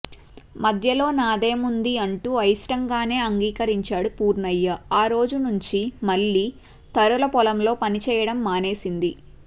మధ్యలో నాదేముంది అంటూ అయిష్టంగానే అంగీకరించాడు పూర్ణయ్య ఆ రోజు నుండి మల్లి తరుల పొలంలో పనిచేయడం మానేసింది